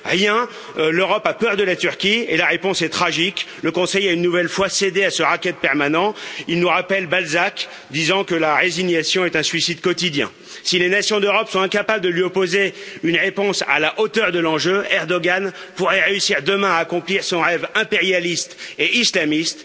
Rien! L'Europe a peur de la Turquie et la réponse est tragique, le Conseil a une nouvelle fois cédé à ce racket permanent, il nous rappelle Balzac, disant que la résignation est un suicide quotidien. Si les nations d'Europe sont incapables de lui opposer une réponse à la hauteur de l'enjeu, Erdoğan pourrait réussir demain à accomplir son rêve impérialiste et islamiste,